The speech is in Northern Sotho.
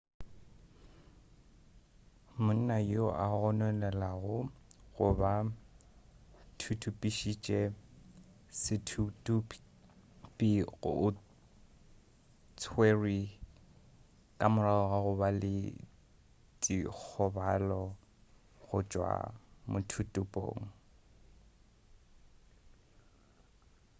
monna yo a gononelwago go ba thuthupišitše sethuthupi o tswerwe ka morago ga go ba le dikgobalo go tšwa mothuthupong